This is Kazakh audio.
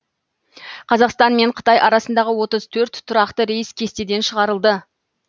қазақстан мен қытай арасындағы отыз төрт тұрақты рейс кестеден шығарылды